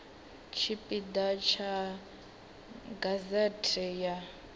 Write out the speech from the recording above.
tshipi ḓa tsha gazete ya